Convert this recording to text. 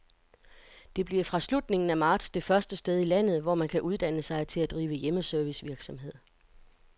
Det bliver fra slutningen af marts det første sted i landet, hvor man kan uddanne sig til at drive hjemmeservicevirksomhed.